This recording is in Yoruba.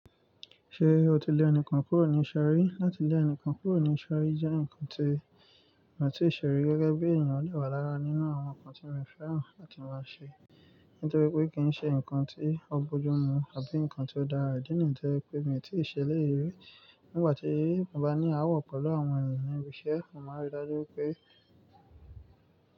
Ṣe o ti le enikán kúrò ní ìsọ̀rí? Látí lé enikan kúrò ní ìserí jẹ́ nkan tí mi ò tíì ṣe rí gẹ́gẹ́ bí ènìyàn lè wà lára nínú àwọn nkan tí mo fẹ́ràn láti máa ṣe. Nítorí pé kì í ṣe nkan tí ó burú mú àbí nkan tí ó dára, nítorí pé mi ò tí ì ṣèlérí. Nígbà tí mo bá ní ááwọ̀ pẹ̀lú àwọn ènìyàn ibi iṣẹ́, mo máa rí i dájú pé.